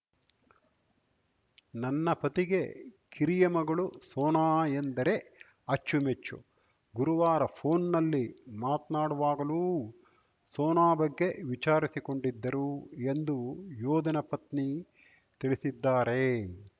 ನನ್ನ ಪತಿಗೆ ಕಿರಿಯ ಮಗಳು ಸೋನಾ ಎಂದರೆ ಅಚ್ಚುಮೆಚ್ಚು ಗುರುವಾರ ಫೋನ್‌ನಲ್ಲಿ ಮಾತ್ನಾಡುವಾಗಲೂ ಸೋನಾ ಬಗ್ಗೆ ವಿಚಾರಿಸಿಕೊಂಡಿದ್ದರು ಎಂದು ಯೋಧನ ಪತ್ನಿ ತಿಳಿಸಿದ್ದಾರೆ